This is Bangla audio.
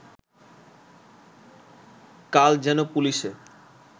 কাল যেন পুলিশে